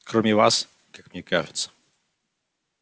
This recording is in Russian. кроме вас как мне кажется